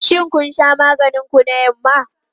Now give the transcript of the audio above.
Shin kun sha maganin ku na yamma?